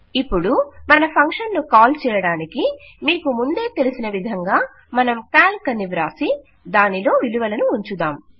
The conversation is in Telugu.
ఇపుడు మన ఫంక్షన్ ను కాల్ చేయుటకు మీకు ముందే తెలిసిన విధంగా మనం కాల్క్ అని వ్రాసి దానిలో విలువలను ఉంచుదాం